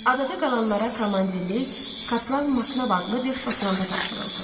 Adada qalanlara komandirlik Kapral Maknab adlı bir Şotlandaya tapşırıldı.